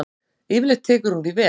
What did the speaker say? Yfirleitt tekur hún því vel.